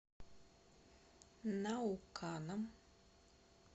науканом